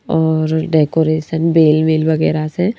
और डेकोरेशन बेल मेल वगैरह से--